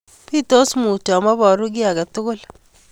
Pitos mutyo ameporu ki akei tugul.